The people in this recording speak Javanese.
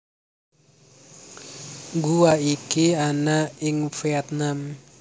Guwa iki ana ing Vietnam